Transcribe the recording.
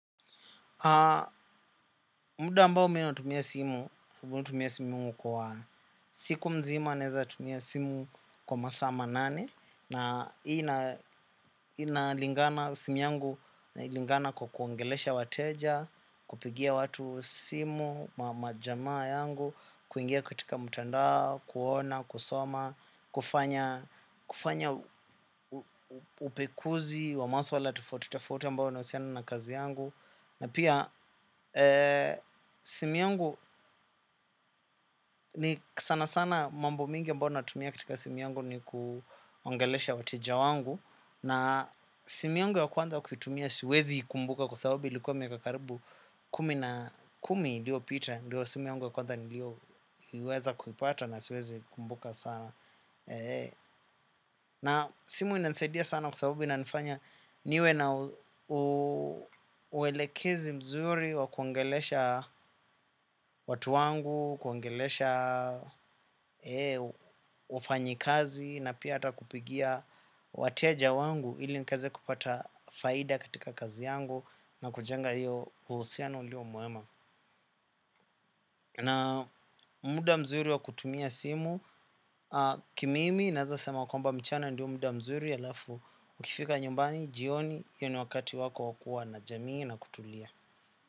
Muda ambao mi natumia simu tumia simu kwa siku mzima naeza tumia simu kwa masama nani. Na inalingana simu yangu kwa kuongelesha wateja, kupigia watu simu, majamaa yangu, kuingia katika mtandao, kuona, kusoma kufanya kufanya upekuzi, wa maswala tofauti, tofauti ambao unahusiana na kazi yangu. Na pia simu yangu ni sanasana mambo mingi ambao natumia katika simu yangu ni kuongelesha wateja wangu. Na simu yangu ya kwanza kuitumia siwezi ikumbuka kwa sabubu ilikuwa miaka karibu kumi na kumi iliopita. Ndiyo simu yangu ya kwandha nilioiweza kuipata na siwezi kumbuka sana. Na simu inanisaidia sana kwa sabubu inanifanya niwe na uwelekezi mzuri wa kuongelesha watu wangu, kuongelesha wafanyikazi na pia ata kupigia wateja wangu ili nikaeze kupata faida katika kazi yangu na kujenga hiyo uhusiano ulio muema. Na muda mzuri wa kutumia simu, ki mimi naeza sema kwamba mchana ndio muda mzuri alafu ukifika nyumbani, jioni, io ni wakati wako wa kua na jamii na kutulia.